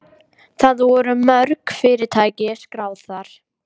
Það voru mörg fyrirtæki skráð þar